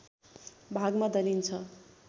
भागमा दलिन्छ